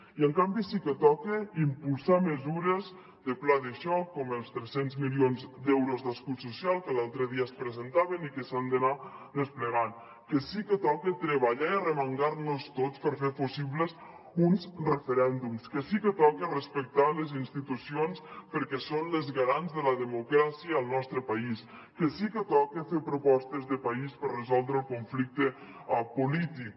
i en canvi sí que toca impulsar mesures de pla de xoc com els tres cents milions d’euros d’escut social que l’altre dia es presentaven i que s’han d’anar desplegant que sí que toca treballar i arremangar nos tots per fer possibles uns referèndums que sí que toca respectar les institucions perquè són les garants de la democràcia al nostre país que sí que toca fer propostes de país per resoldre el conflicte polític